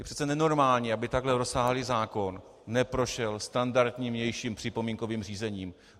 Je přece nenormální, aby takhle rozsáhlý zákon neprošel standardním vnějším připomínkovým řízením.